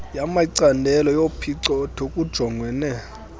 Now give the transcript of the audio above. yamacandelo yophicotho kujongwene